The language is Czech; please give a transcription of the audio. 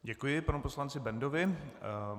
Děkuji panu poslanci Bendovi.